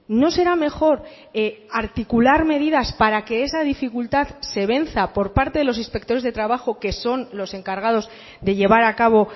no será mejor articular medidas para que esa dificultad se venza por parte de los inspectores de trabajo que son los encargados de llevar a cabo